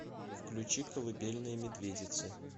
включи колыбельная медведицы